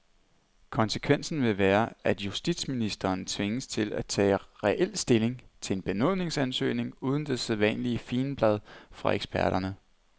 Konsekvensen vil være, at justitsministeren tvinges til at tage reel stilling til en benådningsansøgning uden det sædvanlige figenblad fra eksperterne.